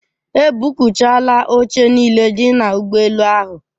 E buukchaala oche niile dị n'ụgbọelu ahụ.